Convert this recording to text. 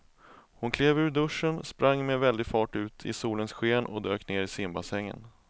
Hon klev ur duschen, sprang med väldig fart ut i solens sken och dök ner i simbassängen.